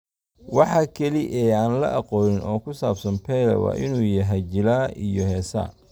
Waxa kaliya ee aan la aqoonin oo ku saabsan Pele waa inuu yahay jilaab iyo heesaa.